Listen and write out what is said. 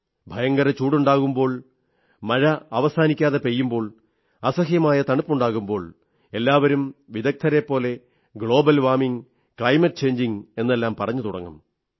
ഭയങ്കര ചൂടുണ്ടാകുമ്പോൾ മഴ അവസാനിക്കാതെ പെയ്യുമ്പോൾ അസഹ്യമായ തണുപ്പുണ്ടാകുമ്പോൾ എല്ലാവരും വിദഗ്ധരെപ്പോലെ ഗ്ലോബൽ വാമിംഗ് ക്ലൈമറ്റ് ചേഞ്ചിംഗ് എന്നെല്ലാം പറഞ്ഞു തുടങ്ങും